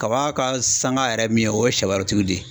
Kaba ka sanga yɛrɛ ye min ye o ye sɛwɛrɛtigiw de ye.